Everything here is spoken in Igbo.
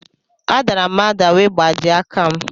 A dàrà m ada wee gbajie aka m